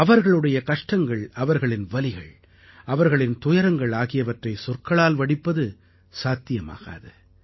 அவர்களுடைய கஷ்டங்கள் அவர்களின் வலிகள் அவர்களின் துயரங்கள் ஆகியவற்றை சொற்களால் வடிப்பது சாத்தியமாகாது